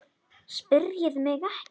PÁLL: Spyrjið mig ekki.